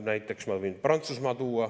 Näiteks ma võin tuua Prantsusmaa.